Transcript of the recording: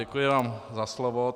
Děkuji vám za slovo.